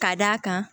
Ka d'a kan